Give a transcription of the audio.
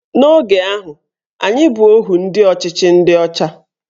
N'oge ahụ, anyị bụ ohu ndị ọchịchị ndị ọcha